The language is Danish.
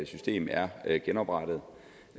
system er er genoprettet